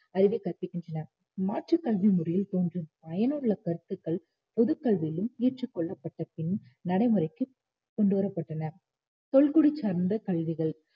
அறிவைக் கற்பிக்கின்றன மாற்றுக் கல்வி முறையில் தோன்றும் பயனுள்ள கருத்துக்கள் பொதுக் கல்வியிலும் ஏற்றுக் கொள்ளப்பட்டப்பின் நடை முறைக்கு கொண்டு வரப்பட்டன தொல்குடி சார்ந்த கல்விகள்